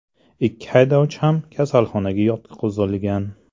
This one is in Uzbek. Ikki haydovchi ham kasalxonaga yotqizilgan.